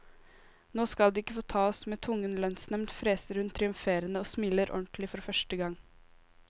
Nå skal de ikke få ta oss med tvungen lønnsnevnd, freser hun triumferende, og smiler ordentlig for første gang.